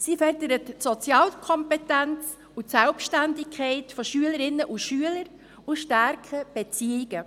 Sie fördert die Sozialkompetenz und die Selbständigkeit von Schülerinnen und Schülern und stärken Beziehungen.